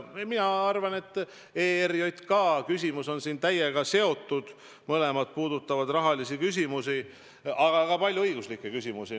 No ma arvan, et küsimus ERJK kohta on sellega täiesti seotud: mõlemad puudutavad raha, aga ka õiguslikke küsimusi.